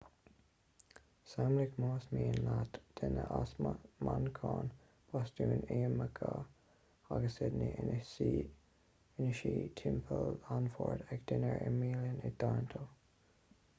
samhlaigh más mian leat duine as manchain bostún iamáice agus sydney ina suí timpeall an bhoird ag dinnéar i mbialann i toronto